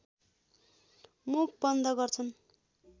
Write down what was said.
मुख बन्द गर्छन्